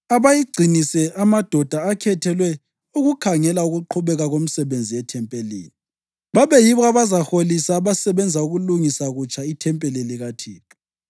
Abayigcinise amadoda akhethelwe ukukhangela ukuqhubeka komsebenzi ethempelini. Babe yibo abazaholisa abasebenza ukulungisa kutsha ithempeli likaThixo,